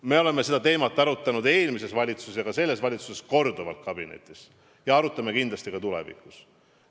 Me oleme seda teemat arutanud eelmises valitsuses ja ka selles valitsuses korduvalt ja arutame kindlasti ka tulevikus.